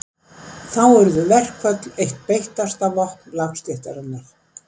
Þá urðu verkföll eitt beittasta vopn lágstéttarinnar.